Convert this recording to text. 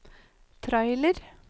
trailer